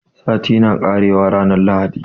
Sati na ƙarewa ranar lahadi